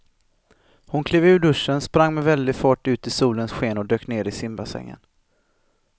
Hon klev ur duschen, sprang med väldig fart ut i solens sken och dök ner i simbassängen.